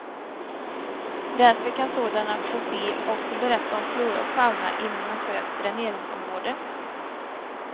Därför kan sådana fossil också berätta om flora och fauna inom en sjös dräneringsområde.